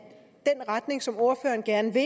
retning som ordføreren gerne vil